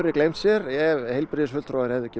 gleymt sér ef heilbrigðisfulltrúar hefðu ekki